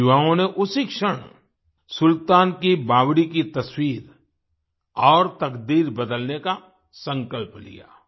इन युवाओं ने उसी क्षण सुल्तान की बावड़ी की तस्वीर और तकदीर बदलने का संकल्प लिया